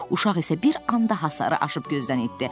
Uşaq isə bir anda hasarı aşıb gözdən itdi.